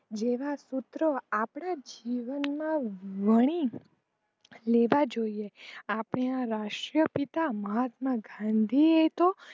જેના સૂત્રો આપણા જીવન માં વળી લેવા જોઈએ આપણા રાષ્ટ્ર પિતા મહાત્મા ગાંધીજી એ તો